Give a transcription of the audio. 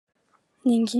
ny angivy dia le